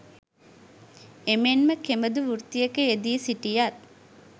එමෙන්ම කෙබඳු වෘත්තියක යෙදී සිටියත්